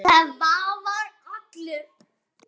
Svavar allur.